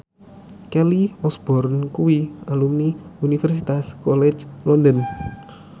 Kelly Osbourne kuwi alumni Universitas College London